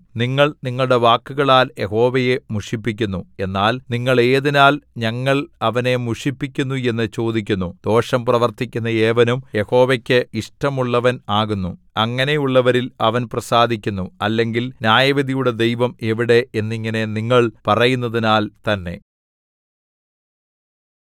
നിങ്ങൾ നിങ്ങളുടെ വാക്കുകളാൽ യഹോവയെ മുഷിപ്പിക്കുന്നു എന്നാൽ നിങ്ങൾ ഏതിനാൽ ഞങ്ങൾ അവനെ മുഷിപ്പിക്കുന്നു എന്നു ചോദിക്കുന്നു ദോഷം പ്രവർത്തിക്കുന്ന ഏവനും യഹോവയ്ക്ക് ഇഷ്ടമുള്ളവൻ ആകുന്നു അങ്ങനെയുള്ളവരിൽ അവൻ പ്രസാദിക്കുന്നു അല്ലെങ്കിൽ ന്യായവിധിയുടെ ദൈവം എവിടെ എന്നിങ്ങിനെ നിങ്ങൾ പറയുന്നതിനാൽ തന്നെ